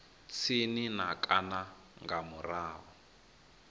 tsini na kana nga murahu